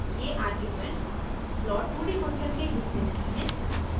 ये आर्ग्यूमेंट्स प्लॉट2d फंक्शन के हिस्से नहीं हैं